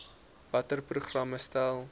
watter programme stel